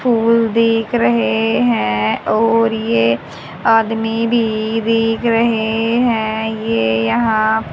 फूल दिख रहे हैं और ये आदमी भी दिख रहे हैं ये यहां--